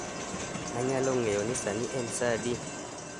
Anyalo ng'eyo ni sani en saa adi